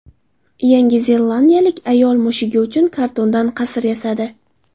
Yangi zelandiyalik ayol mushugi uchun kartondan qasr yasadi.